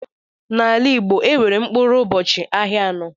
N'ala Igbo, enwere mkpụrụ ụbọchị ahịa anọ.